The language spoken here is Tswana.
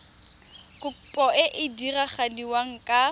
kopo e e diragadiwa ka